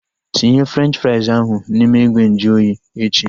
Tinye Frenchi frais ahu n'ime ìgwè nju oyi echi!